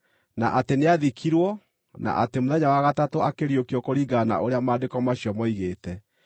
na atĩ nĩathikirwo, na atĩ mũthenya wa gatatũ akĩriũkio kũringana na ũrĩa Maandĩko macio moigĩte,